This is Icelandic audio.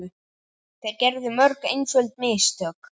Þeir gerðu mörg einföld mistök.